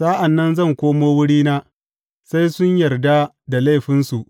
Sa’an nan zan koma wurina sai sun yarda da laifinsu.